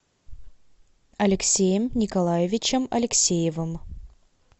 алексеем николаевичем алексеевым